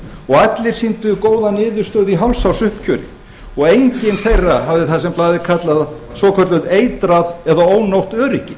og allir sýndu þeir góða niðurstöðu í hálfs árs uppgjöri og enginn þeirra hafði það sem blaðið kallaði það svokallað eitrað eða ónógt öryggi